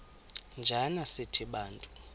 njana sithi bantu